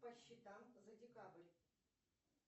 по счетам за декабрь